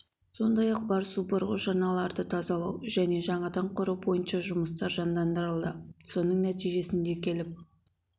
сондай-ақ бар су бұрғыш арналарды тазалау және жаңадан құру бойынша жұмыстар жандандырылды соның нәтижесінде келіп